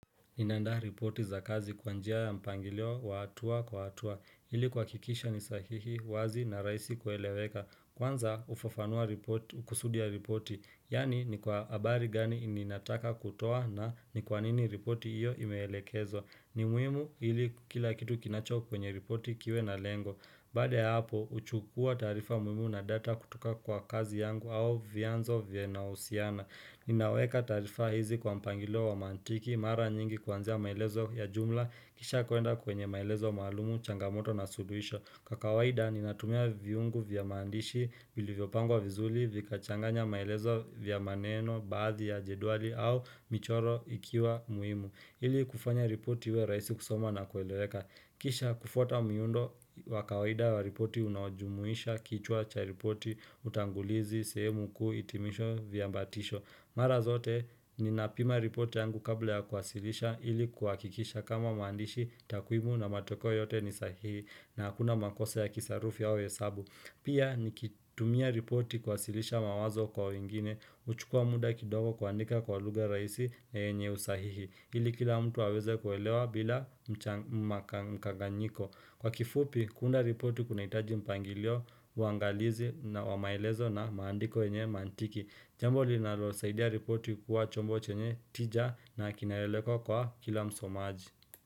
Inandaa ripoti za kazi kwa njia ya mpangilio wa hatua kwa hatua. Hili kuhakikisha nisahihi, wazi na rahisi kueleweka. Kwanza hufafanua ripoti, hukusudia ripoti. Yaani ni kwa habari gani ninataka kutoa na ni kwanini ripoti hiyo imeelekezwa ni muhimu ili kila kitu kinacho kwenye ripoti kiwe na lengo. Baada ya hapo, huchukua taarifa muhimu na data kutoka kwa kazi yangu au vianzo vinavyohusiana. Ninaweka taarifa hizi kwa mpangilio wa mantiki, mara nyingi kwanzia maelezo ya jumla, kisha kwenda kwenye maelezo maalumu, changamoto na suluhisho. Kwa kawaida, ninatumia viungo vya mandishi, vilivyopangwa vizuli, vikachanganya maelezo vya maneno, baadhi ya jedwali au michoro ikiwa muhimu ili kufanya ripoti iwe rahisi kusoma na kueleweka Kisha kufuata miundo wakawaida wa ripoti unaojumuisha kichwa cha ripoti, utangulizi, sehemu kuu, hitimisho, viambatisho. Mara zote ninapima ripoti yangu kabla ya kuwasilisha ili kuhakikisha kama maandishi takwimu na matokeo yote ni sahihi na hakuna makosa ya kisarufi au hesabu. Pia nikitumia ripoti kuwasilisha mawazo kwa wingine huchukua muda kidogo kuandika kwa lugha rahisi yenye usahihi. Hili kila mtu aweze kuelewa bila mkanganyiko. Kwa kifupi, kuunda ripoti kunahitaji mpangilio, uangalizi na wa maelezo na maandiko yenye mantiki, Jambo linalosaidia ripoti kuwa chombo chenye tija na kinaeleweka kwa kila msomaji.